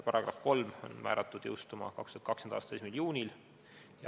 Paragrahv 3 on määratud jõustuma 2020. aasta 1. juunil.